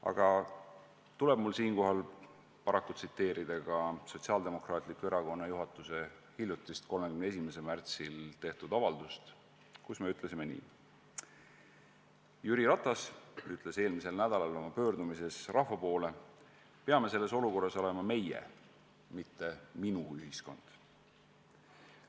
Aga siinkohal tuleb mul paraku tsiteerida Sotsiaaldemokraatliku Erakonna juhatuse hiljutist, 31. märtsil tehtud avaldust, milles me ütlesime: "Jüri Ratas ütles eelmisel nädalal oma pöördumises rahva poole, et peame selles olukorras olema meie-, mitte minu-ühiskond.